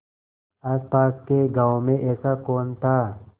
आसपास के गाँवों में ऐसा कौन था